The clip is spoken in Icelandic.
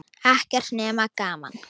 Ekkert nema gaman!